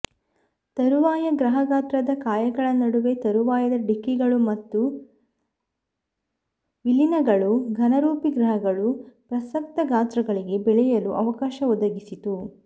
ತರುವಾಯ ಗ್ರಹ ಗಾತ್ರದ ಕಾಯಗಳ ನಡುವೆ ತರುವಾಯದ ಡಿಕ್ಕಿಗಳು ಮತ್ತು ವಿಲೀನಗಳು ಘನರೂಪಿ ಗ್ರಹಗಳು ಪ್ರಸಕ್ತ ಗಾತ್ರಗಳಿಗೆ ಬೆಳೆಯಲು ಅವಕಾಶವೊದಗಿಸಿತು